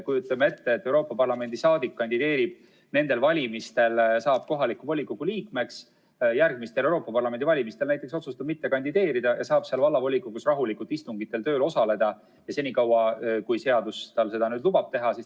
Kujutame ette, et Euroopa Parlamendi saadik kandideerib nendel valimistel, saab kohaliku volikogu liikmeks, järgmistel Euroopa Parlamendi valimistel näiteks otsustab mitte kandideerida ja saab rahulikult vallavolikogu istungitel osaleda senikaua, kui seadus tal seda teha lubab.